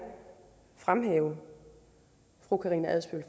fremhæve fru karina adsbøl